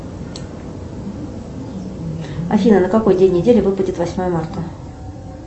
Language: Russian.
афина на какой день недели выпадет восьмое марта